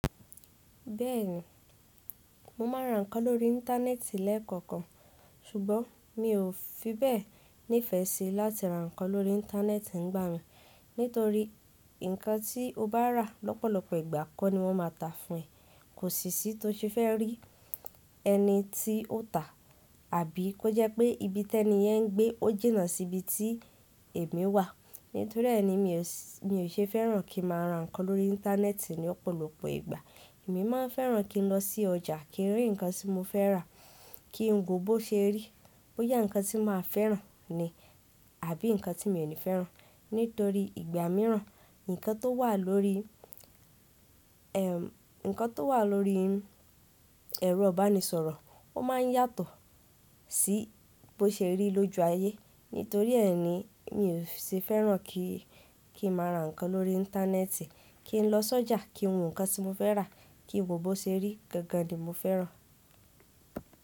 Bẹ́ẹ̀ni, mo máa ra nǹkan lórí íńtánẹ́ẹ̀tì lẹ́ẹ̀kọ̀kan. Sùgbọ́n mi ò fi bẹ́ẹ̀ nífẹ̀ẹ́ ṣí láti ra nǹkan lórí íńtánẹ́ẹ̀tì nígbà mi nítorí nǹkan tí o bá rà lọ́pọ̀lọpọ̀ ìgbà kọ́ ni wọ́n má ta fún ẹ. Kò sí sí tó ṣe fẹ́ rí ẹni tí ó tà. Àbí kó jẹ́ pé ibi tẹ́ni yẹn ń gbé ò jìnnà sí ibi tí èmi wà. Nítorí ẹ́ ni mi ò ṣe fẹ́ràn kí n máa ra nǹkan lórí íńtánẹ́ẹ̀tì ní ọ̀pọ̀lọpọ̀ ìgbà. Èmi máa fẹ́ràn kí n lọ sí ọjà kí n rí nǹkan tí mo fẹ́ rà, kí n wò ó bọ́ ṣe rí, bọ́ yá nǹkan tí mà á fẹ́ràn ni àbí nǹkan tí mi ò ní fẹ́ràn. Nítorí ìgbà mìíràn nǹkan tó wà lórí, nǹkan tó wà lórí ẹ̀rọ ìbánisọ̀rọ̀, ó máa ń yàtọ̀ sí bọ́ ṣe rí lójú ayé. Nítorí ẹ́ ni mi ò ṣe fẹ́ràn kí, kí n máa ra nǹkan lórí íńtánẹ́ẹ̀tì. Kí n lọ sọ́jà, kí n wo nǹkan tí mo fẹ́ rà, kí n wò ó bọ́ ṣe rí, gangan ni mo fẹ́ràn.